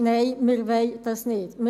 Nein, wir wollen dies nicht.